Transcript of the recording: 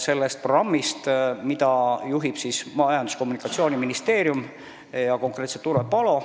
selle programmi abil, mida juhib Majandus- ja Kommunikatsiooniministeerium, konkreetselt Urve Palo.